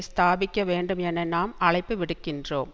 ஸ்தாபிக்க வேண்டும் என நாம் அழைப்பு விடுக்கின்றோம்